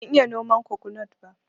Ban iya noman kokonut ba